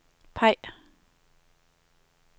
peg